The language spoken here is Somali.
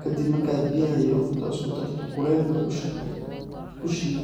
Kadib markaad biyaha iyo ukunta isku darto, kuleylka ku shid